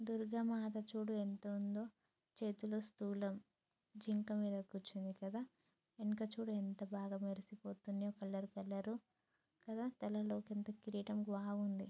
దుర్గమాత చూడు ఎంత ఉందో చేతిలో స్థూలం జింక మీద కూర్చుంది కదా వెనుక చూడు ఎంత బాగా మెరుస్తుందో కలర్ కలర్ కదా తలలో పెద్ద కిరీటం బాగుంది.